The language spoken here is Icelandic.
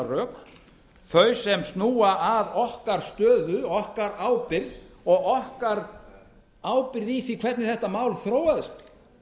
rök þau sem snúa að okkar stöðu okkar ábyrgð og okkar ábyrgð í því hvernig þetta mál þróaðist